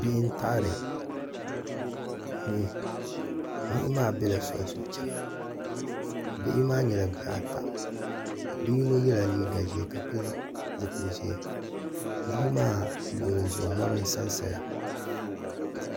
bihi n-taɣiri niɣi niɣi maa bela soli zuɣu chana bihi maa nyɛla bih' ata bi' yino yela liiga ʒee ka pili zupil' ʒee bia maa luɣili zuɣu mɔri n-sa sa ya.